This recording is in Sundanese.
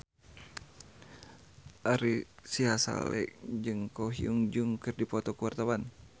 Ari Sihasale jeung Ko Hyun Jung keur dipoto ku wartawan